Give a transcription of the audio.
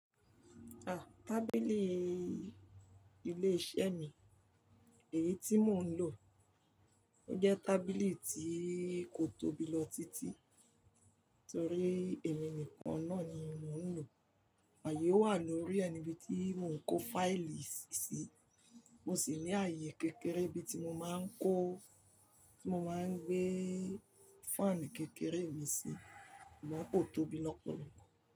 À, tábìlì ilé-iṣẹ́ mi, èyí tí mò ń lò, ó jẹ́ tábìlì tí kò tóbi lọ títí torí èmi nìkan náà ni mò ń lò, ààyè wà lórí ẹ ni bí tí mò ń kó fáìlì síi, mo sì ní ààyè kékeré bí tí mo máa ń kó, tí mo máa ń gbé fáànù kékeré mi sí, mo ní kò tóbi lọ pẹ̀lú.